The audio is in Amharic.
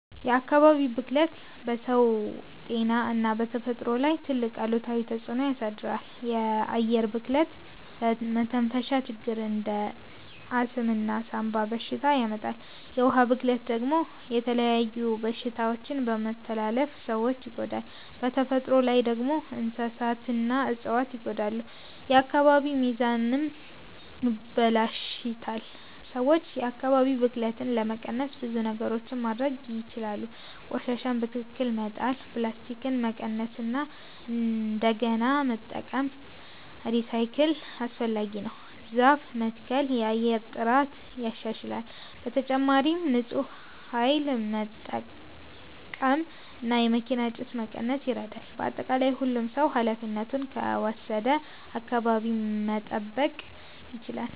የአካባቢ ብክለት በሰው ጤና እና በተፈጥሮ ላይ ትልቅ አሉታዊ ተፅዕኖ ያሳድራል። የአየር ብክለት ለመተንፈሻ ችግሮች እንደ አስም እና ሳንባ በሽታ ያመጣል። የውሃ ብክለት ደግሞ የተለያዩ በሽታዎችን በመተላለፍ ሰዎችን ይጎዳል። በተፈጥሮ ላይ ደግሞ እንስሳትና እፅዋት ይጎዳሉ፣ የአካባቢ ሚዛንም ይበላሽታል። ሰዎች የአካባቢ ብክለትን ለመቀነስ ብዙ ነገሮች ማድረግ ይችላሉ። ቆሻሻን በትክክል መጣል፣ ፕላስቲክን መቀነስ እና እንደገና መጠቀም (recycle) አስፈላጊ ነው። ዛፍ መትከል የአየር ጥራትን ያሻሽላል። በተጨማሪም ንፁህ ኃይል መጠቀም እና የመኪና ጭስ መቀነስ ይረዳል። በአጠቃላይ ሁሉም ሰው ኃላፊነቱን ከወሰደ አካባቢን መጠበቅ ይቻላል።